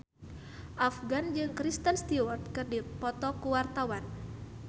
Afgan jeung Kristen Stewart keur dipoto ku wartawan